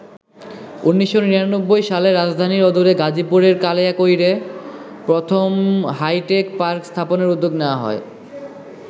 ১৯৯৯ সালে রাজধানীর অদূরে গাজীপুরের কালিয়াকৈরে প্রথম হাইটেক পার্ক স্থাপনের উদ্যোগ নেওয়া হয়।